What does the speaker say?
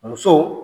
Muso